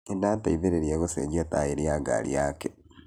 Nĩndateithĩrĩria gũcenjia taĩri ya ngari yake